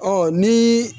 Ɔ ni